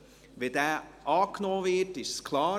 Wenn dieser angenommen wird, ist es klar.